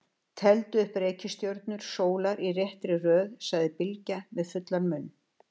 Teldu upp reikistjörnur sólar í réttri röð, sagði Bylgja með fullan munn.